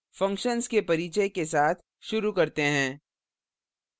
functions के परिचय के साथ शुरू करते हैं